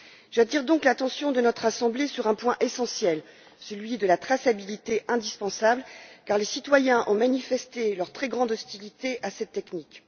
J'attire donc l'attention de notre Assemblée sur un point essentiel, à savoir la traçabilité indispensable, car les citoyens ont manifesté leur très grande hostilité à cette technique.